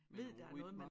Men noget rytmer